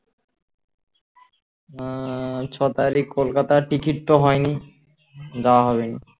উম ছ তারিখ কলকাতার টিকিট তো হয়নি যাওয়া হবেনা